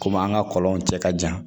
Komi an ka kɔlɔnw cɛ ka jan